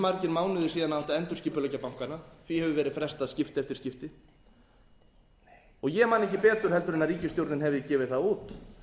margir mánuðir síðan það átti að endurskipuleggja bankana því hefur verið frestað skipti eftir skipti og ég man ekki betur en ríkisstjórnin hafi gefið það út